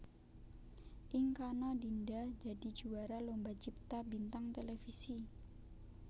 Ing kana Dinda dadi juwara Lomba Cipta Bintang Televisi